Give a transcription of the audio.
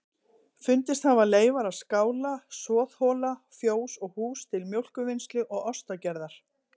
Fundist hafa leifar af skála, soðhola, fjós og hús til mjólkurvinnslu og ostagerðar.